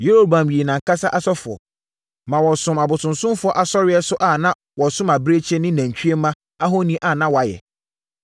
Yeroboam yii nʼankasa asɔfoɔ, ma wɔsomm abosonsomfoɔ asɔreeɛ so a na wɔsom abirekyie ne nantwie mma ahoni a na wɔayɛ.